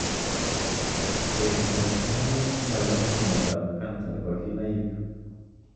Etundop kinaik ko macham ko miondop cancer nebo kinaik.